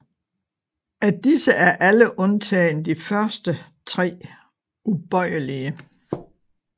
Af disse er alle undtagen de første tre ubøjelige